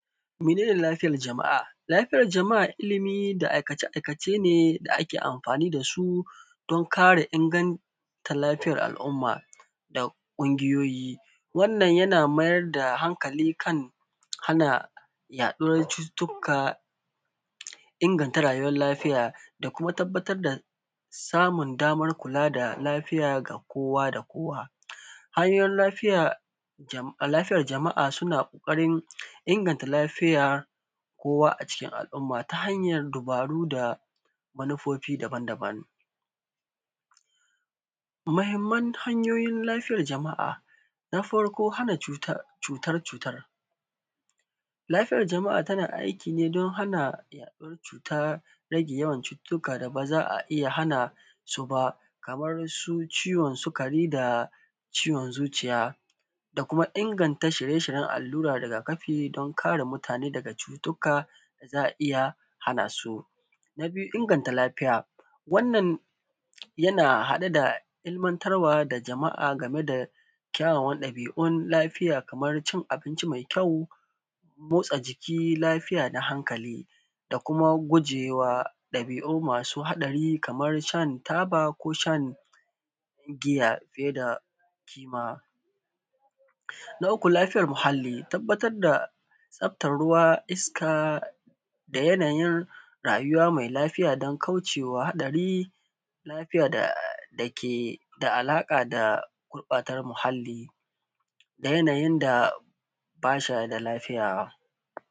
Mene ne lafiyar jama’a? lafiyar jama’a ilimi da aikace-aikace ne da ake amfani da su, don kare inganta lafiyar al’uma da ƙungiyoyi. Wannan yana mayar da hankali kan hana yaɗuwar cututtka, ingata rsyuewar lafiya da kuma tabbatar da samun damar kula da lafiya da kowa da kowa. Hanyoyin lafiya jama lafuyar jama’a suna ƙoƙarin inganta lafiya, kowa a cikin al’umma ta hanyar dabaru da manufofi daban daban. Mahamman hanyoyin lafiyar jama’a, na farko hana cut,a cutar cutar. Lafiyar jama’a tana aiki ne don hana yaɗuwar cuta, rage yawan cututtuka da ba za a iya hana su ba, kamarr su cuwon sikari da ciwon zuciya da kuma inganta shirye-shiryen allura rigafi don kare mutane daga cututtka, za a iya hana su. Na biyu inganta lafiya, wannan yana haɗe da ilimantarwa da jama’a game da kyawawan ɗali’un lafiya kamar cin abinci mai kyau, motsa jiki lafiya da hankali. Da kuma gujewa ɗabi’u masu haɗari kamar shan taba ko shan, giya fiye da kima. Na uku lafiyar muhalli, tabbatar da lafyar ruwa iska da yanyin rayuwa mai lafiya dan kaucewa haɗari, lafiya da dake alaƙa da gurɓata muhalli da yanayin da bas a da lafiya.